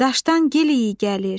Daşdan gil iyi gəlir.